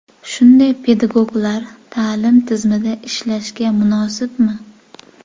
Shunday pedagoglar ta’lim tizimida ishlashga munosibmi?